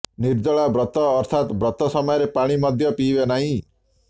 ନିର୍ଜଳା ବ୍ରତ ଅର୍ଥାତ ବ୍ରତ ସମୟରେ ପାଣି ମଦ୍ୟ ପିଇବେ ନାହିଁ